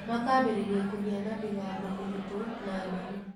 Makaambĩrĩria kũgĩa na mĩgambo mĩritũ na nderũ.